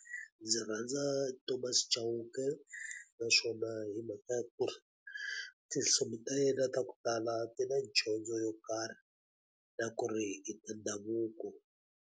Ndzi rhandza Thomas Chauke naswona hi mhaka ya ku ri, tinsimu ta yena ta ku tala ti na dyondzo yo karhi. Na ku ri i ta ndhavuko.